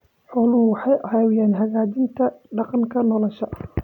Xooluhu waxay caawiyaan hagaajinta deegaanka nolosha.